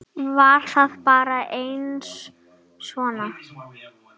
Var það bara aðeins svona?